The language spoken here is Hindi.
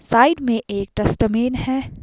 साइड में एक डस्टबिन है।